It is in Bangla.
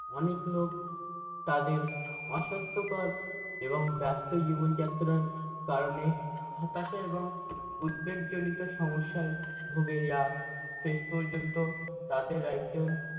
অনেক লোক তাদের অস্বাস্থকর এবং ব্যস্ত জীবনযাত্রার কারণে হতাশা এবং উদ্বেগজনিত সমসসায় ভুগে যা শেষ পর্যন্ত তাদের একজন